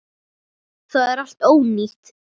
Það er allt ónýtt.